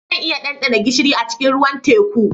Zan iya ɗanɗana gishiri a cikin ruwan teku